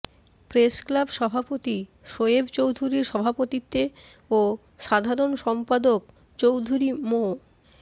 press club সভাপতি শোয়েব চৌধুরীর সভাপতিত্বে ও সাধারণ সম্পাদক চৌধুরী মো